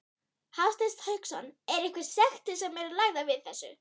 Hafsteinn Hauksson: Er einhverjar sektir sem eru lagðar við þessu?